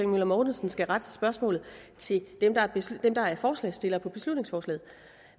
møller mortensen skal rette spørgsmålet til dem der er forslagsstillere på beslutningsforslaget